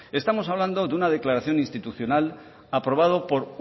estamos hablando de una declaración institucional aprobado por